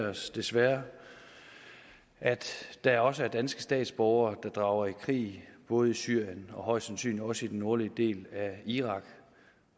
os desværre at der også er danske statsborgere der drager i krig både i syrien og højst sandsynligt også i den nordlige del af irak